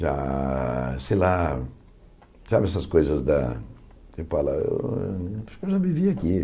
Já, sei lá, sabe essas coisas da ah... Eu já vivi aqui.